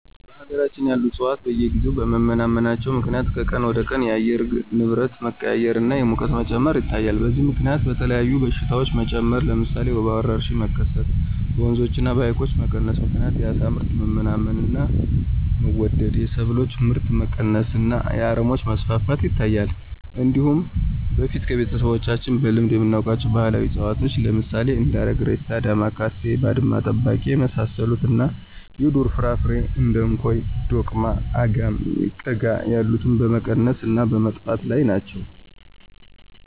በሀገራችን ያሉ ዕፅዋት በየጊዜው በመመናመናቸው ምክንያት ከቀን ወደቀን የአየር ንብረት መቀያየር እና የሙቀት መጨመር ይታያል። በዚህም ምከንያት የተለያዩ በሽታዎች መጨመር ለምሳሌ የወባ ወረርሽኝ መከሰት፣ በወንዞች እና በሀይቆች መቀነስ ምክንያት የአሳ ምርት መመናመን እና መወደድ፣ የሰብሎች ምርት መቀነስ እና የአረሞች መስፋፋት ይታያል። እንዲሁም በፊት ከቤተሰቦቻችን በልምድ የምናውቃቸው ባህላዊ እፅዋት ለምሳሌ እንደ አረግሬሳ፣ ዳማካሴ፣ ባድማ ጠባቂ የመሳሰሉት እና የዱር ፍራፍሬዎች እንደ እንኮይ፣ ዶቅማ፣ አጋም፣ ቀጋ ያሉት በመቀነስ እና በመጥፋት ላይ ናቸው።